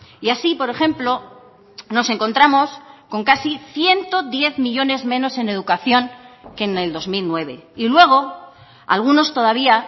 y así por ejemplo nos encontramos con casi ciento diez millónes menos en educación que en el dos mil nueve y luego algunos todavía